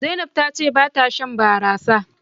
Zainab ta ce ba ta Shan barasa.